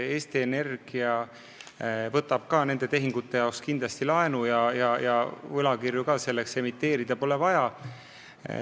Eesti Energia võtab nende tehingute jaoks kindlasti laenu ja võlakirju selleks emiteerida pole vaja.